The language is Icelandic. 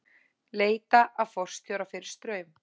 Leita að forstjóra fyrir Straum